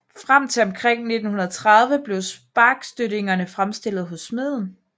Frem til omkring 1930 blev sparkstøttingerne fremstillet hos smeden